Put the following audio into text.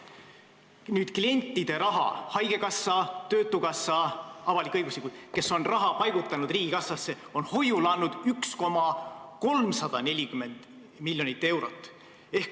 Avalik-õiguslikud asutused, haigekassa ja töötukassa, kes paigutavad riigikassasse klientide raha, on hoiule andnud 1,340 miljonit eurot.